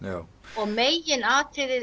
og megin atriðið